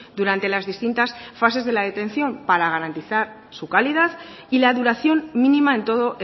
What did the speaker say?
durante las distintas fases de la detención para garantizar su calidad y la duración mínima en todo